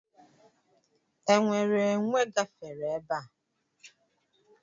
Enwere enwè gafere ebe a?